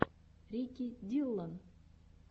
рики диллон